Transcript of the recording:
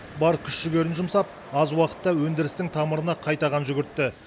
бар күш жігерін жұмсап аз уақытта өндірістің тамырына қайта қан жүгіртті